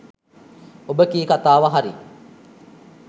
ඔබ කී කතාව හරි